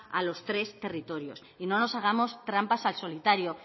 a los tres territorios no nos hagamos trampas al solitario